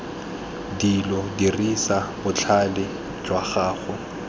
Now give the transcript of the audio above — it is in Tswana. dilo dirisa botlhale jwa gago